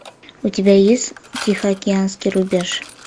у тебя есть тихоокеанский рубеж